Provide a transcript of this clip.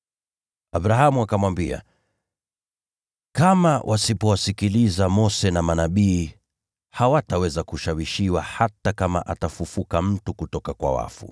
“Abrahamu akamwambia, ‘Kama wasipowasikiliza Mose na Manabii, hawataweza kushawishika hata kama mtu akifufuka kutoka kwa wafu.’ ”